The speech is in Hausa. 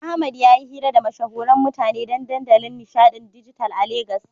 Ahmad yayi hira da mashahuran mutane don dandalin nishaɗin dijital a Legas.